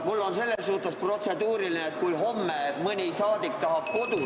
Mul on selles suhtes protseduuriline küsimus, et kui homme mõni saadik tahab kodus ...